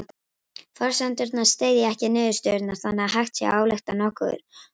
Forsendurnar styðja ekki niðurstöðurnar þannig að hægt sé að álykta nokkuð út frá þeim.